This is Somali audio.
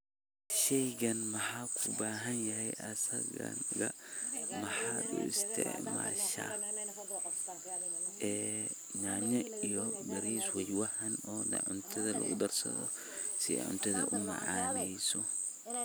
Shaygani ma ku badan yahay aasaggaaga, maxaad u isticmaashaa, ee nyanya iyo bariis weeye waaxan, onaa cuntaada lagu darsado, si ee cuntaada umaacaaneyso.